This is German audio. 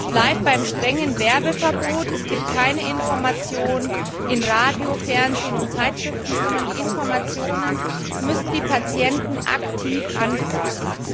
Es bleibt beim strengen Werbeverbot, es gibt keine Information im Radio, Fernsehen und in Zeitschriften, sondern die Informationen müssen die Patienten aktiv anfragen.